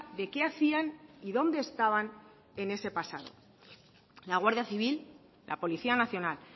de qué hacían y dónde estaban en ese pasado la guardia civil la policía nacional